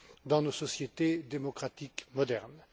dans nos sociétés démocratiques modernes.